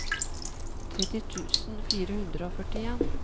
tretti tusen fire hundre og førtien